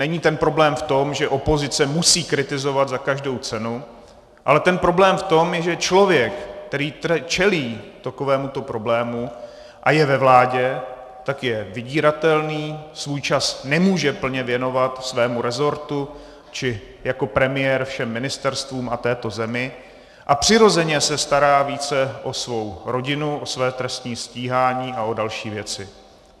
Není ten problém v tom, že opozice musí kritizovat za každou cenu, ale ten problém je v tom, že člověk, který čelí takovémuto problému a je ve vládě, tak je vydíratelný, svůj čas nemůže plně věnovat svému resortu či jako premiér všem ministerstvům a této zemi a přirozeně se stará více o svou rodinu, o své trestní stíhání a o další věci.